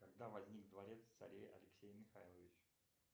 когда возник дворец царя алексея михайловича